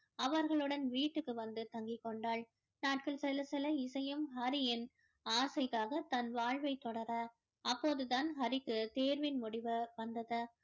அவர்களுடன் வீட்டுக்கு வந்து தங்கி கொண்டாள் நாட்கள் செல்ல செல்ல இசையும் ஹரியின் ஆசைக்காக தன் வாழ்வை தொடர அப்போது தான் ஹரிக்கு தேர்வின் முடிவு வந்தது